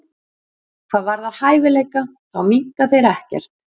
Hvað varðar hæfileika þá minnka þeir ekkert.